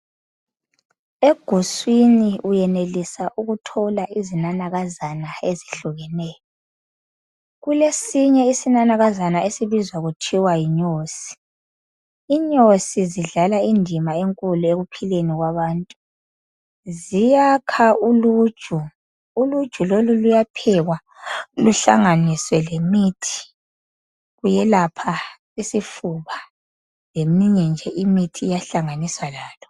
Eguswini uyenelisa ukuthola izinanakazana ezehlukeneyo kulesinye isinanakazana okubizwa kuthiwa yinyosi, inyosi zidlala indima enkulu ekuphileni kwabantu ziyakha uluju, uluju lolu luyaphekwa luhlanganiswe lemithi luyelapha isifuba leminye nje imithi iyahlanganiswa lalo